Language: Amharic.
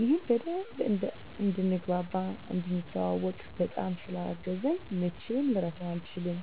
ይህም በደንብ እንድንግባባ፣ እንድንተዋዎቅ፣ በጣም ስላገዘኝ መቼም ልረሳው አልችልም